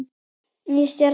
Ný stjarna